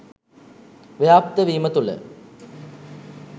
ව්‍යාප්ත වීම තුළ